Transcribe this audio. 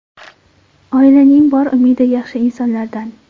Oilaning bor umidi yaxshi insonlardan.